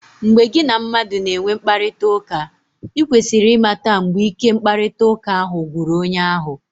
Mgbe gị na mmadụ na-enwe mkparịtaụka, i kwesịrị ịmata mgbe ike mkparịtaụka ahụ gwụrụ onye ahụ.